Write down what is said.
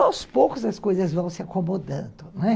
Aos poucos as coisas vão se acomodando, não é?